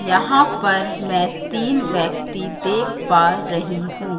यहां पर मैं तीन व्यक्ति देख पा रही हूं।